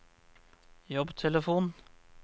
jobbtelefon